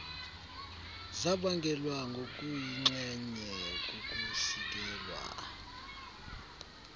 zabangelwa ngokuyinxenye kukusikelwa